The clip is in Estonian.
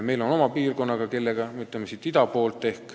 Meil on neid ehk oma piirkonnaga, siin ida pool.